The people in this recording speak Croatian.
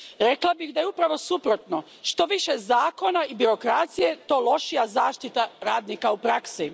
Rekla bih da je upravo suprotno što je više zakona i birokracije, to je lošija zaštita radnika u praksi.